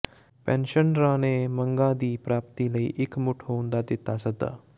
ਪੈਨਸ਼ਨਰਾਂ ਨੇ ਮੰਗਾਂ ਦੀ ਪ੍ਰਾਪਤੀ ਲਈ ਇਕਮੁੱਠ ਹੋਣ ਦਾ ਦਿੱਤਾ ਸੱਦਾ